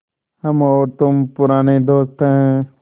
हम और तुम पुराने दोस्त हैं